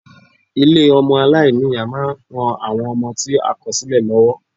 Ilé ọmọ aláìní-Ìyá ma ń ran àwọn ọmọ tí a kò sílẹ̀ lọ́wọ́.